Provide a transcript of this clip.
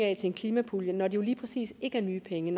af til en klimapulje når det lige præcis ikke er nye penge